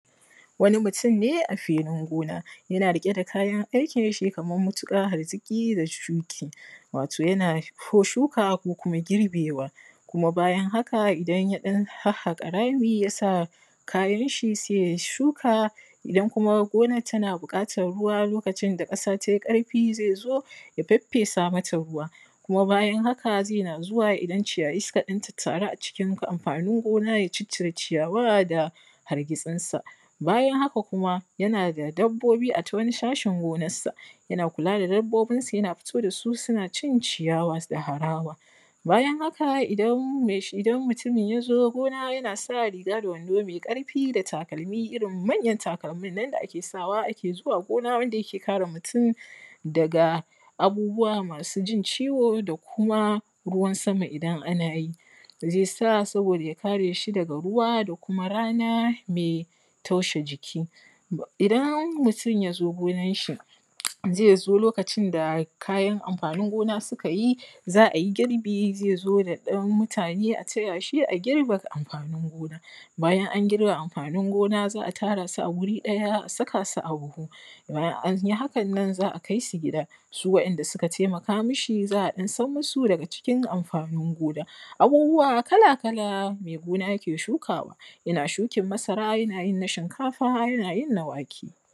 wani mutum ne a filin gona yana riƙe da kayan aikin shi kaman matuƙa haziiƙii da shuƙi wato yana ko shuka ko kuma girbewa kuma bayan haka idan ya ɗan hahhaƙa rai yasa kayanshi sai ya shuka idan kuma gonan tana buƙatar ruwa lokacin da ƙasa tai ƙarfi zai zo ya faffesa mata ruwa kuma bayan haka zai na zuwa idan ciyayi suka ɗan tattaru a cikin Amfanin gona ya ciccire ciyawa da hargiitsinsa bayan haka kuma yana da dabbobi a ta wanii sashin gonassaa yana kula da dabboobinsa yana fito dasu suna cin ciyawa da harawa bayan haka idan mutumin yazo gona yana sa riiga da wando mai ƙarfi da takalmi irin manjan takalmin nan da ake sawa ake zuwa gona wanda yake kare mutum daga abubuwa maasu jin ciwo wa kuma ruwan sama idan ana yi zai sa saboda ya kare shi daga ruwa da kuma rana mai taushe jiki idan mutum ya zo gonanshi zai zo lokacin da Kayan amfanin gona suka yi za a yi girbi zai zo da ɗan mutane a tayashi a girbe amfanin gona bayan an girbe amfanin gona za'a tara su a wuri ɗaya a saka su a buhu bayan an yi hakan nan za'a kai su gida su wainda suka taimaka mishi za'a a ɗan sanmuusu daga cikin amfanin gona abuubuuwa kalakala mai gona ke shukawa yana shukan masara yana yin na shinkafa yana yin na wake.